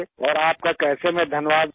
اور آپ کا کیسے میں شکریہ ادا کروں؟